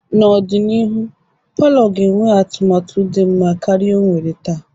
N'ọdịnihu, palọ ga-enwe atụmatụ dị mma karịa ọ nwere taa.